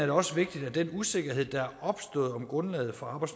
det også vigtigt at den usikkerhed der er opstået om grundlaget for